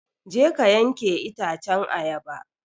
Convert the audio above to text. Je ka yanke itacen ayaba!